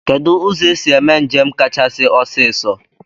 Kedụ ụzọ esi eme njem kachasị ọsiisọ?